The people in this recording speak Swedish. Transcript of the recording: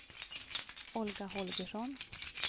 Olga Holgersson